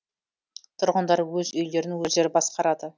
тұрғындар өз үйлерін өздері басқарады